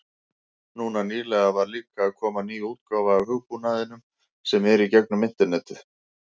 Núna nýlega var líka að koma ný útgáfa af hugbúnaðinum sem er í gegnum internetið.